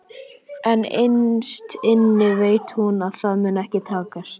En innst inni veit hún að það mun ekki takast.